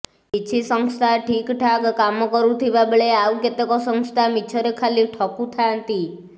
କିଛି ସଂସ୍ଥା ଠିକଠାକ୍ କାମରୁଥିବା ବେଳେ ଆଉ କେତେକ ସଂସ୍ଥା ମିଛରେ ଖାଲି ଠକୁଥାନ୍ତି